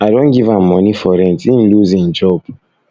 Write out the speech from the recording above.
i don give am moni for rent im loose im job